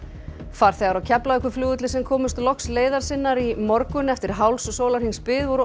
farþegar á Keflavíkurflugvelli sem komust loks leiðar sinnar í morgun eftir hálfs sólarhrings bið voru